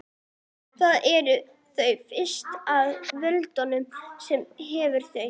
Þar eru þau fest með vöðvum sem hreyfa þau.